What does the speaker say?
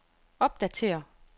opdatér